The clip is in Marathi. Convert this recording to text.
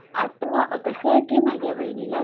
आत्ता कसा कि माझ्या बहिणीला